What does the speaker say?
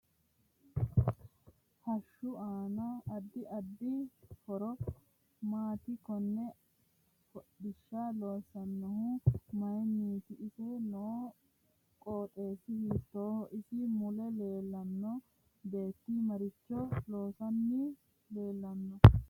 Hoshishu aano addi addi horo maati konne hodhisha loosoonihu mayiiniito ise noo qoxeesi hitooho isi mule leelanno beeti maricho loosani leelanno